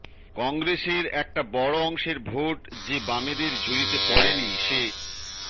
কংগ্রেসের একটা বড় অংশের ভোট যে বামেদের ঝুলিতে পড়েনি সে